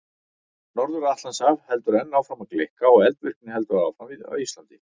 Norður-Atlantshaf heldur enn áfram að gleikka og eldvirkni heldur áfram á Íslandi.